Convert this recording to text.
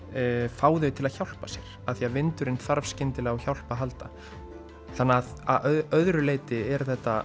fá þau til að hjálpa sér af því vindurinn þarf skyndilega á hjálp að halda þannig að öðru leyti er þetta